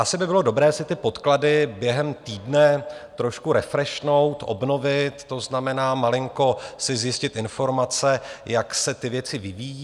Asi by bylo dobré si ty podklady během týdne trošku refrešnout, obnovit, to znamená malinko si zjistit informace, jak se ty věci vyvíjejí.